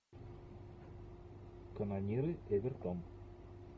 канониры эвертон